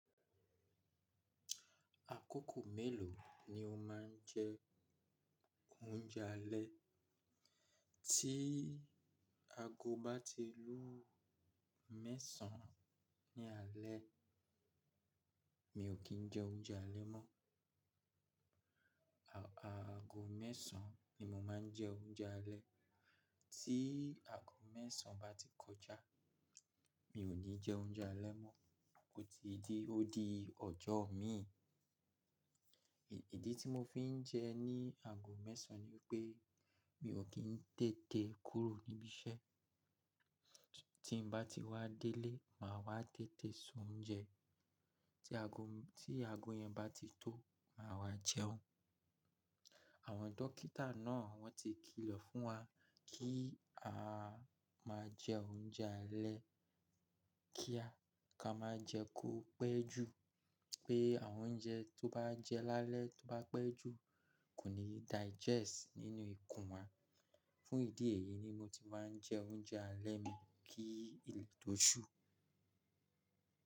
Àkókò mélòó ni o ma ń jẹ óúnjẹ alẹ́? Tí ago bá ti lú mẹ́sàn-án ní alẹ́, mi ò kí ń jẹ oúnjẹ alẹ́ mọ́. À, aago mẹ́sàn-án ni mo ma ń jẹ oúnjẹ alẹ́. Tí aago mẹ́sàn án bá ti kọjá, mi ò ní jẹ oúnjẹ alẹ́ mọ́. Ó ti di, ó di ọjọ́ mi. Ìdí tí mo fi ń jẹ ní aago mẹ́sàn-án ni pé mi ò kí ń tètè kúrò níbi iṣẹ́. Tí n bá ti wá délé, màá wá tètè s'oúnjẹ. Tí ago, tí ago yẹn bá ti tó, màá wá jẹun. Àwọn dókítà náà wọ́n ti kìlọ̀ fún wa kí a máa jẹ oúnjẹ alẹ́ kíá. Ká má jẹ̀ kó pẹ́ jù, pé àwọn oúnjẹ tó bá jẹ lálẹ́ tó bá pẹ́ jù kò ní digest nínú ikùn wa. Fún ìdí èyí ni mo ti máa ń jẹ oúnjẹ alẹ́ mi kí ilẹ̀ tó ṣú.